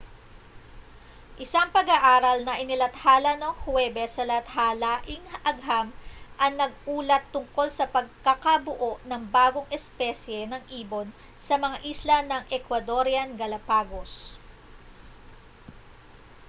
isang pag-aaral na inilathala noong huwebes sa lathalaing agham ang nag-ulat tungkol sa pakakabuo ng bagong espesye ng ibon sa mga isla ng ecuadorean galapagos